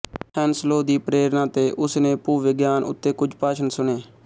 Henslow ਦੀ ਪ੍ਰੇਰਨਾ ਤੇ ਉਸ ਨੇ ਭੂਵਿਗਿਆਨ ਉੱਤੇ ਕੁਝ ਭਾਸ਼ਣ ਸੁਣੇ